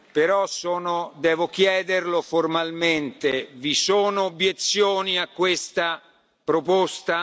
Però sono devo chiederlo formalmente vi sono obiezioni a questa proposta?